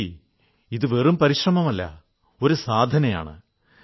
രിപുജി ഇത് വെറും പരിശ്രമമല്ല സാധനയാണ്